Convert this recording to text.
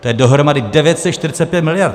To je dohromady 945 miliard.